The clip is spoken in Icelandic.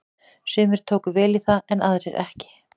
Sumir tóku vel í það en aðrir ekki.